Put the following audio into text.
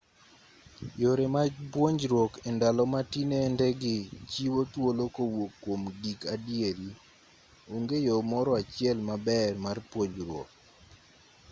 yore mag puonjruok e ndalo ma tinende gi chiwo thuolo kowuok kwom gik adieri onge yo moro achiel maber mar puonjruok